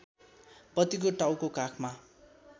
पतिको टाउको काखमा